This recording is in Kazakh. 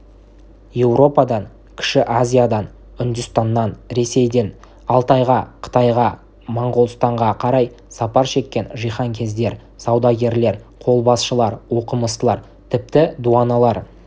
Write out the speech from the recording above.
еуропадан кіші азиядан үндістаннан ресейден алтайға қытайға моңғолстанға қарай сапар шеккен жиһанкездер саудагерлер қолбасшылар оқымыстылар тіпті дуаналар